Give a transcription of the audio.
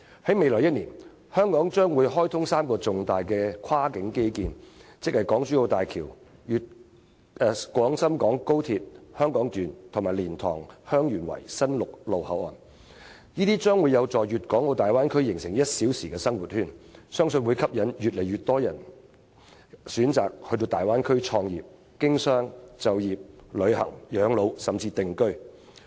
"在未來1年，香港將會開通3個重大的跨境基建，即港珠澳大橋、廣深港高鐵香港段，以及蓮塘/香園圍新陸路口岸，這將有助於大灣區形成 "1 小時生活圈"，相信會吸引越來越人選擇到大灣區創業、經商、就業、旅行、養老甚至定居。